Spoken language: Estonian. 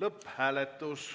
lõpphääletus.